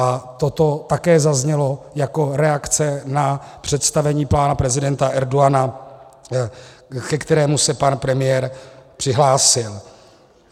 A toto také zaznělo jako reakce na představení pana prezidenta Erdogana, ke kterému se pan premiér přihlásil.